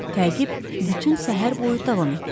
Təqib bütün səhər boyu davam etdi.